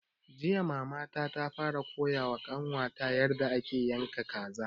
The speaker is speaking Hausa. Jiya mama ta fara koya wa ƙanwa ta yarda ake yanka kaza